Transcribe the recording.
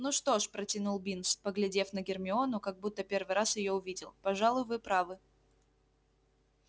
ну что ж протянул бинс поглядев на гермиону как будто первый раз её видел пожалуй вы правы